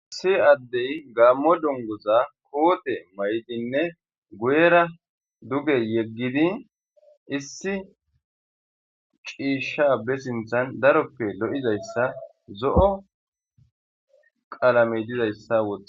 Issi addey gaammo dunguza qodhdhen mayidiinne guuyera duuge yeeggiddii issi ciishsha ba sinththan daroppe lo'oizayssa zo'o qaalamey dizayssa wooththides